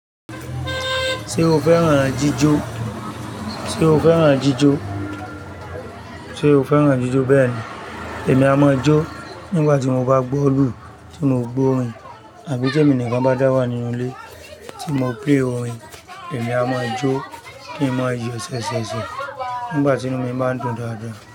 Sé o fẹ́ràn jíjó, sé o fẹ́ràn jíjó, sé o fẹ́ràn jíjó. Bẹ́ẹ̀ni. Èmi á máa jo nígbà tí mo bá gbó'lù tí mo gbó'rin, àbí tí èmi nìkan bá wà nínú ilé tí mo play orin, èmí á máa jó kí n máa yò sè sè sè nígbà tí inú mi bá dùn dáada.